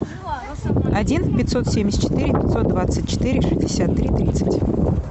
один пятьсот семьдесят четыре пятьсот двадцать четыре шестьдесят три тридцать